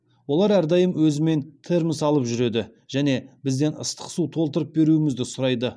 олар әрдайым өзімен термос алып жүреді және бізден ыстық су толтырып беруімізді сұрайды